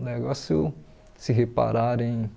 O negócio de se reparar em